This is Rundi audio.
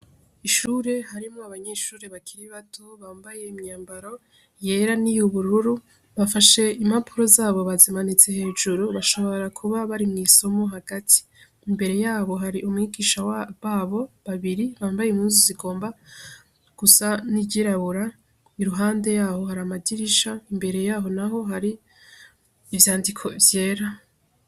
Ishure harimo abanyeshuri bakiri bato bambaye imyambaro yera ni youbururu bafashe impapuro zabo bazimanitse hejuru bashobora kuba bari mw'isomo hagati imbere yabo hari umwigisha babo babiri bambaye imuzi zigomba gusa n'ijirabura i ruhande yaho hari amajiwa risha imbere yaho, naho hari ivyandiko vyera.